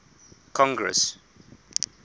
congress